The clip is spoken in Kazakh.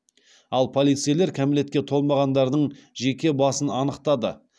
ал полицейлер кәмелетке толмағандардың жеке басын анықтады